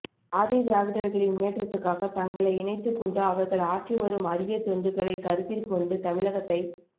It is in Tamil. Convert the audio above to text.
ஆதிதிராவிடா்களின் முன்னேற்றத்து க்காக தங்களை இணைத்துக் கொண்டு அவா்கள் ஆற்றிவரும் அரிய தொண்டுகளை கருத்தில் கொண்டு தமிழகத்தைச்